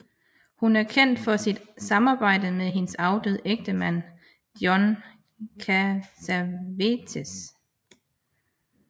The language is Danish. Hun er hun er kendt for sit samarbejde med hendes afdøde ægtemand John Cassavetes